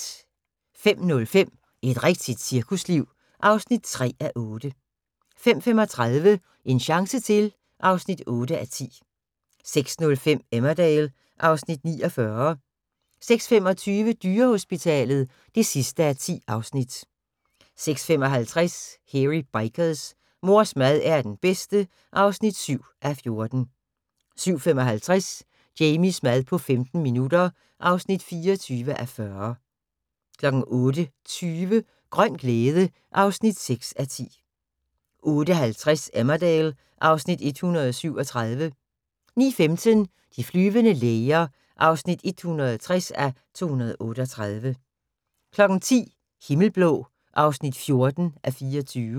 05:05: Et rigtigt cirkusliv (3:8) 05:35: En chance til (8:10) 06:05: Emmerdale (Afs. 49) 06:25: Dyrehospitalet (10:10) 06:55: Hairy Bikers: Mors mad er den bedste (7:14) 07:55: Jamies mad på 15 minutter (24:40) 08:20: Grøn glæde (6:10) 08:50: Emmerdale (Afs. 137) 09:15: De flyvende læger (160:238) 10:00: Himmelblå (14:24)